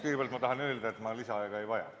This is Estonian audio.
Kõigepealt tahan öelda, et ma lisaaega ei vaja.